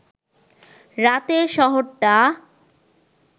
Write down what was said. রাতে শহরটা